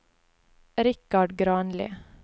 Richard Granli